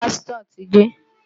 Ṣé pásítọ̀ ti dé?